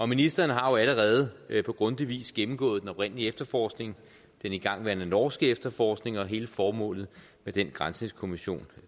ministeren har jo allerede på grundig vis gennemgået den oprindelige efterforskning den igangværende norske efterforskning og hele formålet med den granskningskommission